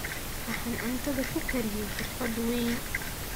Waxaan cuntadan ku kariyey xirfad weyn